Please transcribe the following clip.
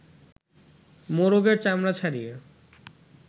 মোরগের চামড়া ছাড়িয়ে